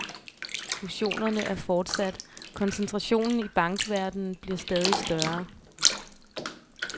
Fusionerne er fortsat, koncentrationen i bankverdenen bliver stadig større.